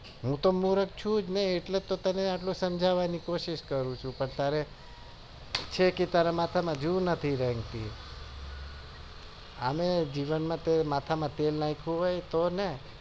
હૂતો મુર્ખ છુ જ ને એટલે તો તને એટલું સમજવાની કોશિશ કરું છુ પણ તારે માથા ક્યાંય જૂ નથી રેંગતી હા લે જીવન માં માથા માં ક્યારે તેલ નાખ્યું હોય તો ને